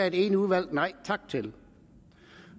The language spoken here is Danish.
et enigt udvalg nej tak til